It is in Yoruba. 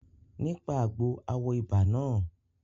Nípa àgbo a wo ibà náà